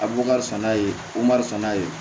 A bu kasɛn n'a ye gomari san n'a ye